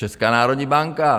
Česká národní banka!